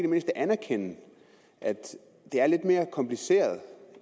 mindste anerkende at det er lidt mere kompliceret